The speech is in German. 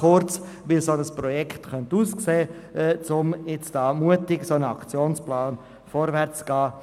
Soviel ganz kurz zur Frage, wie ein solches Projekt aussehen könnte, damit wir mutig mit einem Aktionsplan vorwärtsgehen können.